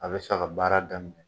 A bɛ sa ka baara daminɛ.